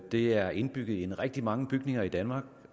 det er indbygget i rigtig mange bygninger i danmark i